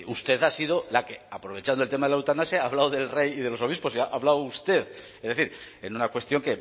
usted ha sido la que aprovechando el tema de la eutanasia ha hablado del rey y de los obispos ha hablado usted es decir en una cuestión